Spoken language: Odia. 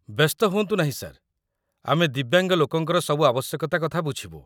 ବ୍ୟସ୍ତ ହୁଅନ୍ତୁ ନାହିଁ, ସାର୍, ଆମେ ଦିବ୍ୟାଙ୍ଗ ଲୋକଙ୍କର ସବୁ ଆବଶ୍ୟକତା କଥା ବୁଝିବୁ ।